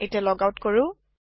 এতিয়া log out কৰো